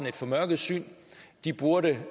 et formørket syn burde